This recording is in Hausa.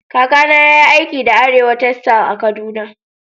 Kaka na yayi aiki da Arewa textile a'Kaduna.